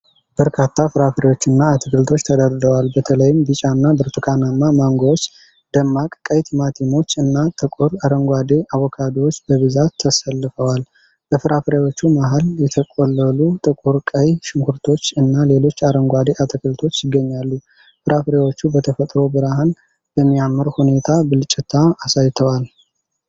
በርካታ ፍራፍሬዎችና አትክልቶች ተደርድረዋል፡፡ በተለይም ቢጫና ብርቱካናማ ማንጎዎች፣ ደማቅ ቀይ ቲማቲሞች እና ጥቁር አረንጓዴ አቮካዶዎች በብዛት ተሰልፈዋል። በፍራፍሬዎቹ መሃል የተቆለሉ ጥቁር ቀይ ሽንኩርቶች እና ሌሎች አረንጓዴ አትክልቶች ይገኛሉ። ፍራፍሬዎቹ በተፈጥሮ ብርሃን በሚያምር ሁኔታ ብልጭታ አሳይተዋል።